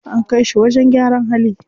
An kai shi wajen gyaran hali.